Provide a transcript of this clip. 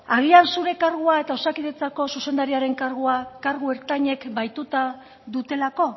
agian zure kargua eta osakidetzako zuzendariaren kargua kargu ertainek bahituta dutelako